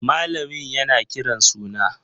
Malamin yana kiran suna.